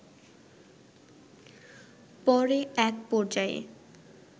পরে এক পর্যায়ে